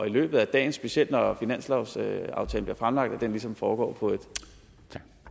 løbet af dagen specielt når finanslovsaftalen bliver fremlagt ligesom foregår på et